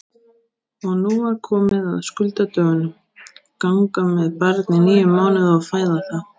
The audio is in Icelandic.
Og nú var komið að skuldadögunum: Ganga með barn í níu mánuði og fæða það!